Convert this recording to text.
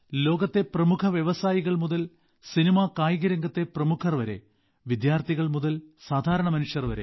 ലോകത്തെ പ്രമുഖ വ്യവസായികൾ മുതൽ സിനിമാകായിക രംഗത്തെ പ്രമുഖർവരെ വിദ്യാർത്ഥികൾ മുതൽ സാധാരണ മനുഷ്യർ വരെ